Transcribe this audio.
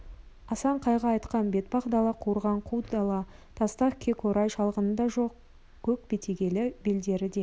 асанқайғы айтқан бетпақ дала қуарған қу дала тастақ көкорай шалғыны да жоқ көк бетегелі белдері де